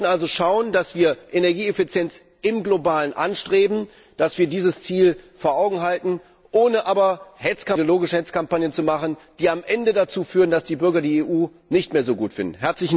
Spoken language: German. Wir sollten also schauen, dass wir Energieeffizienz im Globalen anstreben, dass wir dieses Ziel vor Augen behalten, ohne aber ideologische Hetzkampagnen zu betreiben, die am Ende dazu führen, dass die Bürger die EU nicht mehr so gut finden.